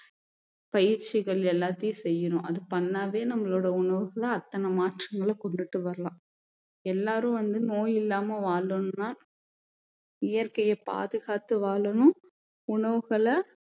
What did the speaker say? பயிற்சிகள் எல்லாத்தையும் செய்யணும் அது பண்ணவே நம்மளோட உணவுகளை அத்தனை மாற்றங்களை கொண்டுட்டு வரலாம் எல்லாரும் வந்து நோய் இல்லாம வாழணும்னா இயற்கையை பாதுகாத்து வாழணும் உணவுகளை